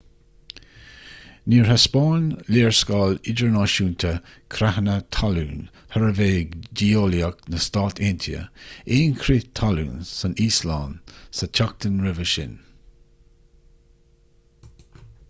níor thaispeáin léarscáil idirnáisiúnta creathanna talún shuirbhé geolaíoch na stát aontaithe aon chrith talún san íoslainn sa tseachtain roimhe sin